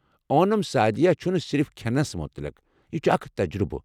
اونم سعدیہ چھُنہٕ صِرف کھٮ۪نَس متعلِق، یہِ چھُ اکھ تجرٗبہٕ۔